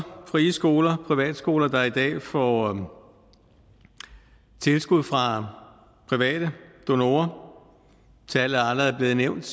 frie skoler og privatskoler der i dag får tilskud fra private donorer tallet er allerede blevet nævnt